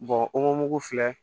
o mugu filɛ